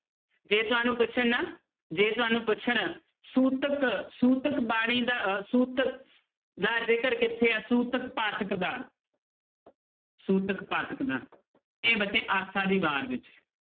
ਜੇ ਤੁਹਾਨੂੰ ਪੁੱਛਣ ਨਾ ਜੇ ਤੁਹਾਨੂੰ ਪੁੱਛਣ ਸੂਤਕ ਸੂਤਕ ਬਾਣੀ ਦਾ ਅਹ ਸੂਤਕ ਦਾ ਜ਼ਿਕਰ ਕਿੱਥੇ ਹੈ ਸੂਤਕ ਪਾਤਕ ਦਾ ਸੂਤਕ ਪਾਤਕ ਦਾ ਇਹ ਬੱਚੇ ਆਸਾ ਦੀ ਵਾਰ ਵਿੱਚ ਹੈ